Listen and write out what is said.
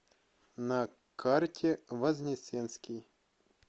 на карте вознесенский